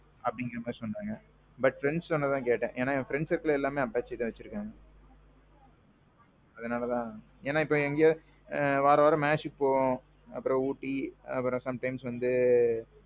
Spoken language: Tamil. but, நான் friends சொன்னத தான் கேட்டேன். ஏன்னா friends எல்லாரும் apache தான் வச்சிருக்காங்க. அதனால தான். ஏன்னா இப்போ இங்க வாராவாரம் matchக்கு போவோம், அப்பறோம் ooty அப்பறோம் sometimes வந்து.